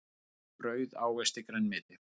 Brauð ávexti grænmeti.